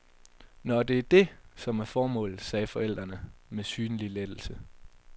Nåh, det er det, som er formålet, sagde forældrene med synlig lettelse.